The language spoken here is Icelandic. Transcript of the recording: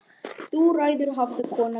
Þú ræður hafði kona mín sagt.